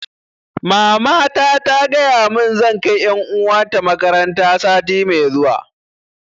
Mamata ta gaya mun zan kai ƴan uwa ta makaranta sati mai zuwa